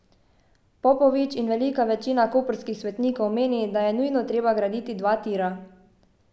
Popovič in velika večina koprskih svetnikov meni, da je nujno treba graditi dva tira.